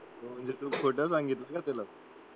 म्हणजे तू खोटं सांगितलं ना त्याला